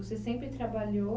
Você sempre trabalhou